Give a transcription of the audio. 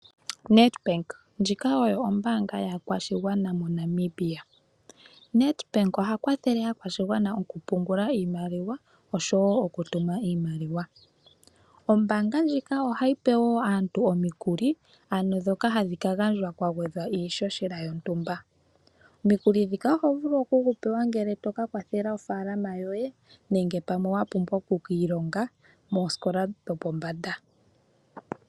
Nedbank ndjika oyo ombaanga yaakwashigwana moNamibia. Nedbank oha kwathele aakwashigwana moku pungula iimaliwa oshowo oku tuma iimaliwa. Ombaanga ndjika ohayi pe woo aantu omikuli ndhoka hadhi kagandjwa kwagwedhwa iishoshela yontumba. Omukuli nguka ohu vulu okugupewa ngele to ka kwathele ofaalama yoye nenge pamwe wa pumbwa oku kiilonga moosikola dho pombanda.